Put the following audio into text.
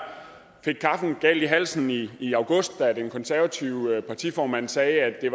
fik kaffen galt i halsen i i august da den konservative partiformand sagde at